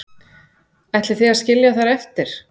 Ætlið þið að skilja þær eftir?